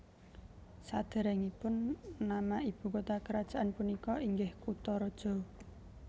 Sadéréngipun nama ibu kota kerajaan punika inggih Kutaraja